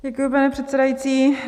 Děkuji, pane předsedající.